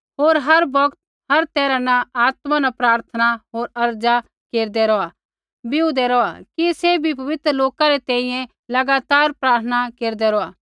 होर हर बौगत होर हर तैरहा न आत्मा न प्रार्थना होर अर्ज़ा केरदै रौहा बीऊदे रौहा कि सैभी पवित्र लोका री तैंईंयैं लगातार प्रार्थना केरदै रौहा